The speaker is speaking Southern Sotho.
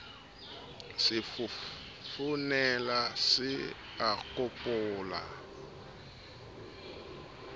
se fofonela se a kopola